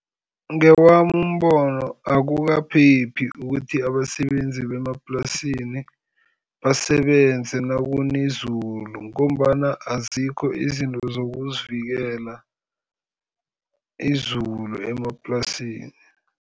Ngewami umbono akukaphephi ukuthi abasebenzi bemaplasini basebenze nakuna izulu, ngombana azikho izinto zokuzivikela izulu emaplasini.